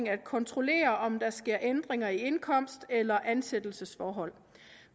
at kontrollere om der sker ændringer i indkomst eller ansættelsesforhold